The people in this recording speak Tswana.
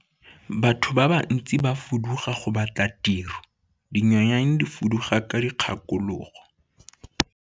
Batho ba bantsi ba fuduga go batla tiro dinonyane di fuduga ka dikgakologo.